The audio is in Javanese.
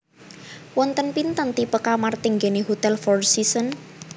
Wonten pinten tipe kamar teng nggene Hotel Four Seasons?